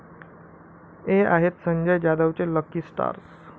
हे' आहेत संजय जाधवचे 'लकी' स्टार्स